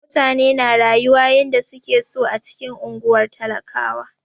Mutane na rayuwa yanda suke so a cikin unguwar talakawa.